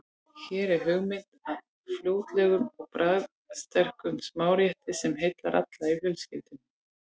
Hér er hugmynd að fljótlegum og bragðsterkum smárétti sem heillar alla í fjölskyldunni.